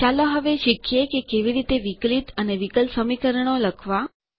ચાલો હવે શીખીએ કે કેવી રીતે વિકલિત અને વિકલ સમીકરણો લખવાં